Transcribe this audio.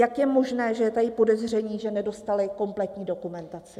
Jak je možné, že je tady podezření, že nedostali kompletní dokumentaci?